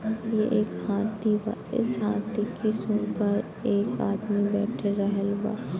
ये एक हाथी बा | इस हाथी के सुँढ़ पर एक आदमी बैठ रहल बा |